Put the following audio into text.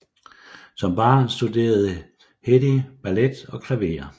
Som barn studerede Hedy ballet og klaver